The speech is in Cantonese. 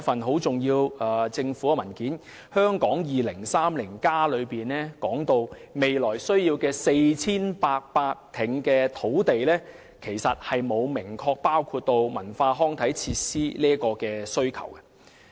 《香港 2030+： 跨越2030年的規劃遠景與策略》提及未來需要 4,800 公頃土地，但這其實沒有明確包含對文化康體設施的土地需求。